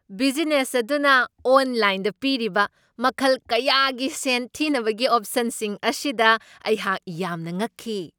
Business ꯑꯗꯨꯅ ꯑꯣꯟꯂꯥꯏꯟꯗ ꯄꯤꯔꯤꯕ ꯃꯈꯜ ꯀꯌꯥꯒꯤ ꯁꯦꯟ ꯊꯤꯅꯕꯒꯤ ꯑꯣꯞꯁꯟꯁꯤꯡ ꯑꯁꯤꯗ ꯑꯩꯍꯥꯛ ꯌꯥꯝꯅ ꯉꯛꯈꯤ ꯫